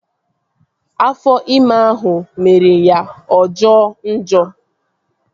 Afọ ime ahụ mere ya ọ jọo njọ